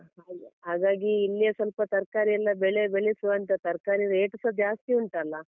ಹಾಗಾಗಿ ಇಲ್ಲೇ ಸ್ವಲ್ಪ ತರ್ಕಾರಿ ಎಲ್ಲ ಬೆಳೆ ಬೆಳೆಸುವ ಅಂತ ತರ್ಕಾರಿ rate ಸ ಜಾಸ್ತಿ ಉಂಟಲ್ಲ.